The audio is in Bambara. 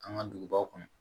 An ka dugubaw kɔnɔ